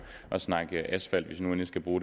jo